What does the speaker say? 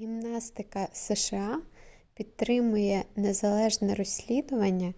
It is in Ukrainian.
гімнастика сша підтримує незалежне розслідування